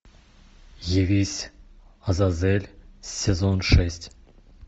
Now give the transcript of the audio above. явись азазель сезон шесть